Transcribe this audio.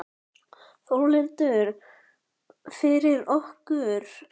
Þórhildur: Fyrir okkur?